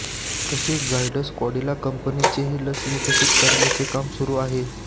तसेच झायडस कॅडिला कंपनीचेही लस विकसित करण्याचे काम सुरू आहे